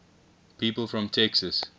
people from texas